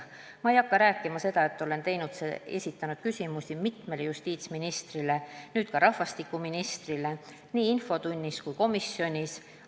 Ma ei hakka rääkima seda, et olen esitanud küsimusi mitmele justiitsministrile, nüüd ka rahvastikuministrile nii infotunnis kui ka komisjonis.